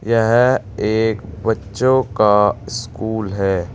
यह एक बच्चों का स्कूल है।